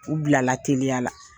U bilala teliya la.